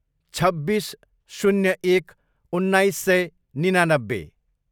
छब्बिस, शून्य एक, उन्नाइस सय निनानब्बे